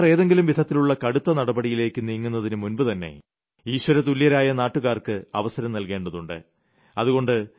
സർക്കാർ ഏതെങ്കിലും വിധത്തിലുള്ള കടുത്ത നടപടിയിലേക്ക് നീങ്ങുന്നതിനുമുമ്പുതന്നെ ഈശ്വരതുല്യരായ നാട്ടുകാർക്ക് അവസരം നൽകേണ്ടതുണ്ട്